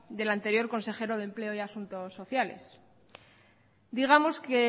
del anterior consejero de empleo y asuntos sociales digamos que